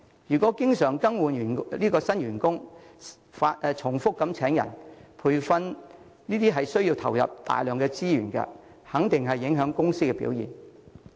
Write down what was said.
如果經常更換新員工，重複請人和培訓同樣需要投入大量資源，肯定會影響公司表現。